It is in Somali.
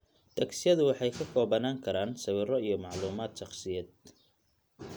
Tagsyadu waxay ka koobnaan karaan sawirro iyo macluumaad shakhsiyeed.